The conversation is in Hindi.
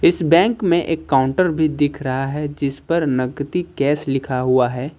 इस बैंक में एक काउंटर भी दिख रहा है जिस पर नकदी कैश लिखा हुआ है।